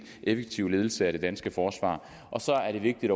effektive ledelse af det danske forsvar så er er det vigtigt